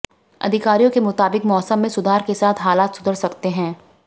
अधिकारियों के मुताबिक मौसम में सुधार के साथ हालात सुधर सकते हंै